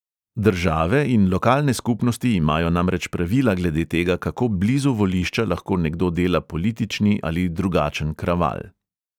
Države in lokalne skupnosti imajo namreč pravila glede tega, kako blizu volišča lahko nekdo dela politični ali drugačen kraval.